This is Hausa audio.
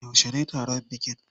Yaushe ne taron bikin?